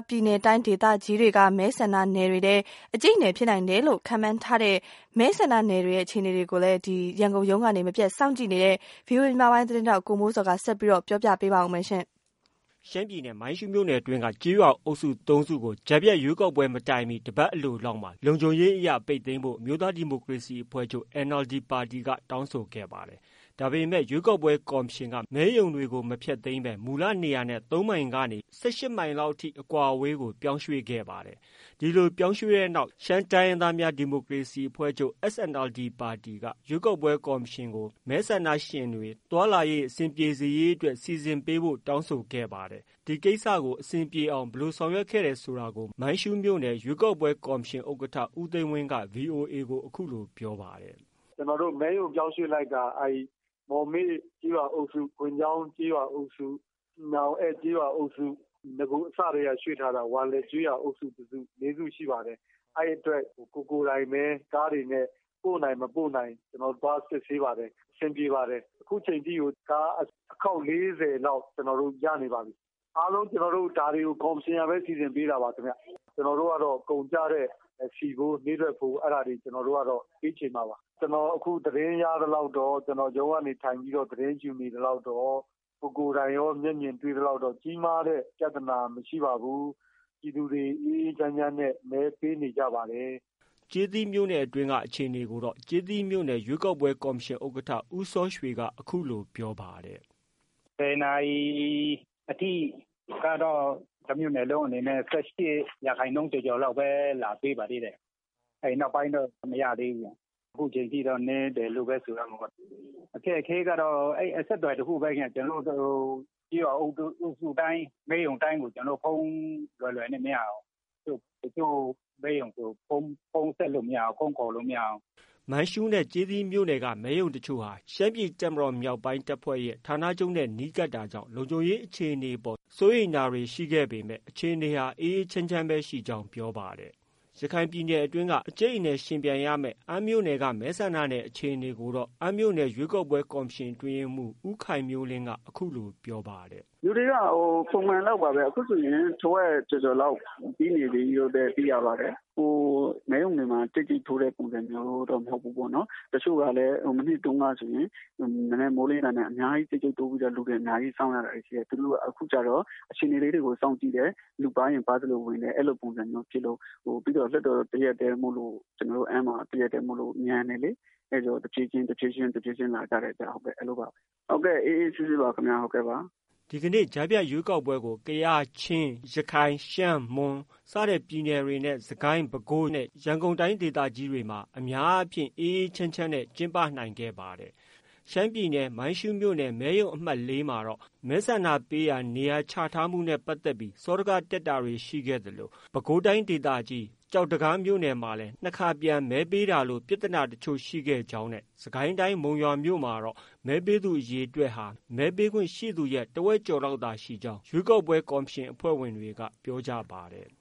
ပြည်နယ်တိုင်းဒေသကြီးတွေက မဲဆန္ဒနယ်တွေထဲ အကျိတ်အနယ် ဖြစ်နိုင်တယ်လို့ ခန့်မှန်းထားတဲ့ မဲဆန္ဒနယ်တွေရဲ့ အခြေအနေကိုတော့ ရန်ကုန်ရုံးကနေ မပြတ်စောင့်ကြည့်နေတဲ့ ဗွီအိုအေ သတင်းထောက် ကိုမိုးဇော်က ဆက်ပြောပြပါမယ်။ ရှမ်းပြည်နယ် မိုင်းရှုးမြို့နယ်အတွင်းက ကျေးရွာအုပ်စု ၃ စုကို ကြားဖြတ်ရွေးကောက်ပွဲမစတင်မီ တပတ်လောက်အလိုမှာ လုံခြုံရေးအရ ပိတ်သိမ်းဖို့ အမျိုးသားဒီမိုကရေစီအဖွဲ့ချုပ် NLD က တောင်းဆိုခဲ့ပါတယ်။ ဒါပေမဲ့ ရွေးကောက်ပွဲကော်မရှင်က မဲရုံတွေကို မဖျက်သိမ်းဘဲ မူလနေရာနဲ့ ၃ မိုင်ကနေ ၁၈မိုင်လောက်ထိ အကွာအဝေးကိုပြောင်းရွှေ့ခဲ့ပါတယ်။ ဒီလို ပြောင်းရွှေ့တဲ့အတွက် ရှမ်းတိုင်းရင်းသားများ ဒီမိုကရေစီအဖွဲ့ချုပ် SNLD ပါတီက ရွေးကောက်ပွဲကော်မရှင်ကို မဲဆန္ဒရှင်တွေ သွားလာရေး အဆင်ပြေစေ ရေးအတွက် စီစဉ်ပေးဖို့ တောင်းဆိုခဲ့ပါတယ်။ ဒီကိစ္စကို အဆင်ပြေအောင် ဘယ်လိုစီစဉ်ပေးခဲ့တယ်ဆိုတာ မိုင်းရှုးမြို့နယ် ရွေးကောက်ပွဲကော်မရှင် ဥက္ကဋ္ဌ ဦးသိန်းဝင်းက ဗွီအိုအေကို အခုလို ပြောပြပါတယ်။ " ကျနော်တို့ မော်မိတ်ကျေးရွာအုပ်စု ကွမ်ချောင်းကျေးရွာအုပ်စု အန့်ကျေးရွာအုပ်စု နဂိုအစကတည်းက ရွှေ့ထားတာ ဝါလင်ကျေးရွာအုပ်စု တစု လေးစုရှိပါတယ်။ အဲ့ဒီ့အတွက် ကိုယ်ကိုယ်တိုင်ပဲ ကားတွေ ပို့နိုင်၊ မပို့နိုင် ကျနော်တို့သွားစစ်ဆေးပါတယ်။ အဆင်ပြေပါတယ်။ အခုအချိန်အထိကို ကားအခေါက် ၄၀ ကျနော်တို့ ရနေပါပြီ။ အားလုံး ဒါတွေကို ကော်မရှင်ကပဲ စီစဉ်ပေးတာပါခင်ဗျ။ ကျနော်တို့ကတော့ ကုန်ကျတဲ့ ဆီဖိုး နေ့တွက်တွေ ပေးခြေမှာပါ။ ကျနော် အခုသတင်းရသလောက် ကျနော် ရုံးကနေ သတင်းယူနေသလောက်တော့ ကိုယ်ကိုတိုင်လည်း မျက်မြင်တွေ့သလောက် ကြီးမားတဲ့ ပြသနာ မရှိပါဘူး။ ပြည်သူတွေ အေးအေးချမ်းချမ်းနဲ့မဲပေးနေကြပါတယ်။ ကျေးသီးမြို့နယ်တွင်းက အခြေအနေကိုတော့ ကျေးသီးမြို့နယ် ရွေးကောက်ပွဲ ကော်မရှင်ဥက္ကဋ္ဌ ဦးစောရွှေက အခုလို ပြောပါတယ်။ " ၁၀ နာရီအထိကတော့ တမြို့နယ်လုံးအနေနဲ့ ၁၈ ရာခိုင်နှုန်းလောက်ပဲ လာပေးပါသေးတယ်။ နောက်ပိုင်းတော့ မရသေးဘူး အခုအချိန်အထိတော့ နည်းတယ်လို့ပဲ ပြောရမယ်။ အခက်အခဲကတော့ အဆက်အသွယ်တခုပဲ ကျနော်တို့ ကျေးရွာအုပ်စု တိုင်းကို ဖုန်း လွယ်လွယ်နဲ့ မရဘူး။ တချို့မဲရုံဆို ဖုန်းဆက်လို့မရဘူး။ ဖုန်းခေါ်လို့မရဘူး။ မိုင်းရှုးနဲ့ကျေးသီးမြို့နယ်က မဲရုံတချို့ဟာ ရှမ်းပြည်တပ်မတေ်ာ-မြောက်ပိုင်းတပ်ဖွဲ့ဌာနချုပ်နဲ့ နီးကပ်တာကြောင့် လုံခြုံရေး အခြေ အနေအပေါ် စိုးရိမ်တာတွေရှိခဲ့ပေမဲ့ အခြေအနေဟာ အေးအေးချမ်းချမ်းရှိကြောင်း ပြောပါတယ်။ ရခိုင်ပြည်နယ်တွင်းက အကျိတ်အနယ်ယှဉ်ပြိုင်ရမယ့် အမ်းမြို့နယ် မဲဆန္ဒနယ် အခြေအနေကိုတော့ အမ်းမြို့နယ် ရွေးကောက်ပွဲ ကော်မရှင်အတွင်းရေးမှုး ဦးခိုင်မျိုးလင်းက အခုလို ပြောပါတယ်။ " လူတွေကပုံမှန်လောက်ပါပဲ အခုဆိုရင် တဝက်ကျော်ကျော်လောက် ပြီးနေပြီလို့ သိရပါတယ်။ မဲရုံတွေမှာ ကြိတ်ကြိတ်တိုးတဲ့ပုံစံမျိုးတော့ မဟုတ်ဘူးပေါ့နော်။ တချို့ကလည်း မနှစ်တုန်းကဆိုရင် မနက်မိုးလင်းတာနဲ့ အများကြီး ကြိတ်ကြိတ်တိုးပြီးတော့ စောင့်ရတာတွေရှိတယ် သူတို့ အခုကျတော့ အခြေအနေလေးတွေကို စောင့်ကြည့်တယ်။ လူပါးရင် ပါးသလို ဝင်တယ် အဲ့လိုပုံစံမျိုးတွေဖြစ်လို့။ ပြီးတော့ ကျနော်တို့အမ်းမှာက လွှတ်တော်တရပ်တည်းမို့လို့ မြန်တယ်လေ။ အဲ့တော့ တဖြေးဖြေးချင်း တဖြေးဖြေးချင်း လာကြတယ်ဟုတ်ကဲ့ အေးအေးဆေးဆေးပါပဲခင်ဗျာ။" ဒီကနေ့ ကြားဖြတ်ရွေးကောက်ပွဲကို ကယား၊ ချင်း၊ ရခိုင်၊ ရှမ်း၊ မွန် ပြည်နယ်တွေနဲ့ စစ်ကိုင်း၊ ပဲခူး၊ ရန်ကုန်တိုင်းဒေသကြီးတွေမှာ အများအားဖြင့် အေးအေးချမ်းချမ်းနဲ့ ကျင်းပနိုင်ပါတယ်။ ရှမ်းပြည်နယ် မိုင်းရှုးမြို့နယ် မဲရုံအမှတ် ၄ မှာ မဲဆန္ဒပေးရာနေရာ ချထားမှု နဲ့ပတ်သက်ပြီး စောဒကတက်တာရှိခဲ့သလို ပဲခူးတိုင်းဒေသကြီး ကျောက်တံခါးမှာ ၂ ခါပြန်မဲပေးခဲ့တာလို ပြဿနာတချို့တော့ ရှိခဲ့ကြောင်းနဲ့ စစ်ကိုင်းတိုင်းမုံရွာမြို့မှာတော့ မဲပေးသူအရေအတွက် မဲပေးခွင့်ရှိသူရဲ့ တဝက်ကျော်လောက်သာရှိခဲ့ကြောင်း ကော်မရှင်အဖွဲ့ဝင်တွေ က ပြောပါတယ်။